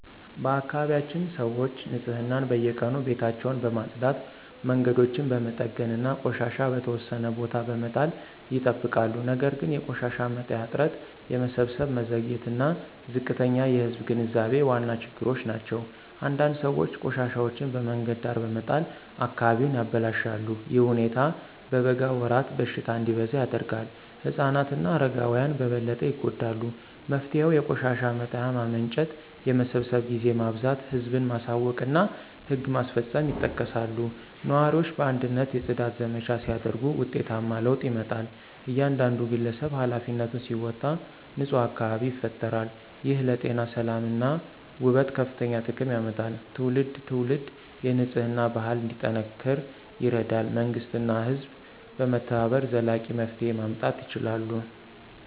በአካባቢያችን ሰዎች ንፅህናን በየቀኑ ቤታቸውን በማጽዳት መንገዶችን በመጠገን እና ቆሻሻ በተወሰነ ቦታ በመጣል ይጠብቃሉ ነገር ግን የቆሻሻ መጣያ እጥረት የመሰብሰብ መዘግየት እና ዝቅተኛ የህዝብ ግንዛቤ ዋና ችግሮች ናቸው። አንዳንድ ሰዎች ቆሻሻቸውን በመንገድ ዳር በመጣል አካባቢውን ያበላሻሉ። ይህ ሁኔታ በበጋ ወራት በሽታ እንዲበዛ ያደርጋል። ህፃናት እና አረጋውያን በበለጠ ይጎዳሉ። መፍትሄው የቆሻሻ መጣያ ማመንጨት የመሰብሰብ ጊዜ ማብዛት ህዝብን ማሳወቅ እና ህግ ማስፈጸም ይጠቀሳሉ። ነዋሪዎች በአንድነት የጽዳት ዘመቻ ሲያደርጉ ውጤታማ ለውጥ ይመጣል። እያንዳንዱ ግለሰብ ኃላፊነቱን ሲወጣ ንፁህ አካባቢ ይፈጠራል። ይህ ለጤና ሰላም እና ውበት ከፍተኛ ጥቅም ያመጣል። ትውልድ ትውልድ የንፅህና ባህል እንዲጠናከር ይረዳል መንግሥት እና ህዝብ በመተባበር ዘላቂ መፍትሄ ማምጣት ይችላሉ።